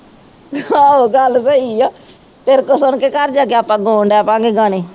ਆਹ ਗੱਲ ਸਹੀ ਆ ਤੇਰੇ ਕੋਲ ਸੁਣ ਕੇ ਘਰ ਜਾ ਕੇ ਆਪਾ ਗਾਉਣ ਲਗ ਪਾ ਗਏ ਗਾਣੇ